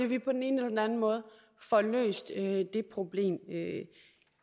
vi på den ene eller anden måde får løst det problem